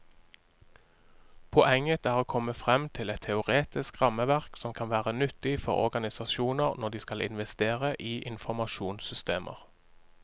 Poenget er å komme frem til et teoretisk rammeverk som kan være nyttig for organisasjoner når de skal investere i informasjonssystemer.